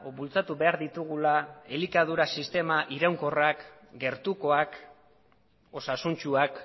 bultzatu behar ditugula elikadura sistema iraunkorrak gertukoak osasuntsuak